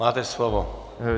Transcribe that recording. Máte slovo.